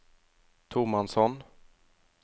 tomannshånd